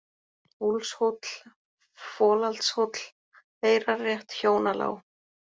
Úlfshóll, Folaldshóll, Eyrarrétt, Hjónalág